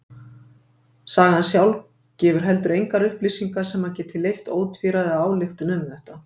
Sagan sjálf gefur heldur engar upplýsingar sem geti leyft ótvíræða ályktun um þetta.